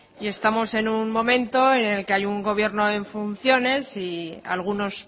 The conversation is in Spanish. y estamos en un momento en el que hay un gobierno en funciones y algunos